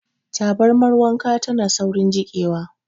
Tabarmar wanka tana saurin jiƙewa.